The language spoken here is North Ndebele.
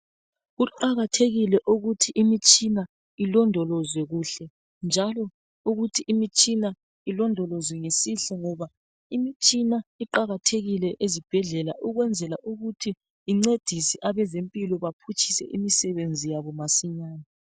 Kuqakathekile ukuthi imitshina ilondolozwe kuhle njalo ukuthi imitshina ilondolozwe ngesihle ngoba imitshina iqakathekile ezibhedlela. Ukwenzela ukuthi incedise abazempilo baphutshise imisebenzi yabo basinyane.